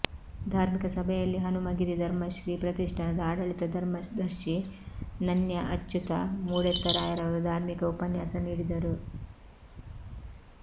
ಧಾರ್ಮಿಕ ಸಭೆಯಲ್ಲಿ ಹನುಮಗಿರಿ ಧರ್ಮಶ್ರೀ ಪ್ರತಿಷ್ಠಾನದ ಆಡಳಿತ ಧರ್ಮದರ್ಶಿ ನನ್ಯ ಅಚ್ಚುತ ಮೂಡೆತ್ತಾಯರವರು ಧಾರ್ಮಿಕ ಉಪನ್ಯಾಸ ನೀಡಿದರು